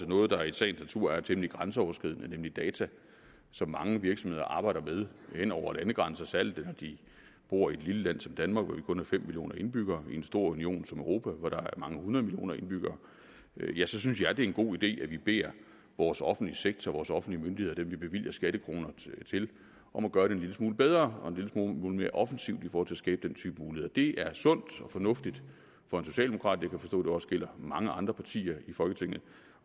noget der i sagens natur er temmelig grænseoverskridende nemlig data som mange virksomheder arbejder med hen over landegrænser særlig når de bor i et lille land som danmark hvor der kun er fem millioner indbyggere i en stor union som europa hvor der er mange hundrede millioner indbyggere og jeg synes det er en god idé at vi beder vores offentlige sektor og vores offentlige myndigheder dem vi bevilger skattekroner til om at gøre det en lille smule bedre og en lille smule mere offensivt for at skabe den type muligheder det er sundt og fornuftigt for en socialdemokrat jeg kan forstå at det også gælder mange andre partier i folketinget og